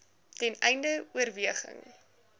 ten einde oorweging